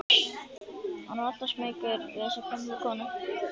Hann var alltaf smeykur við þessa gömlu konu.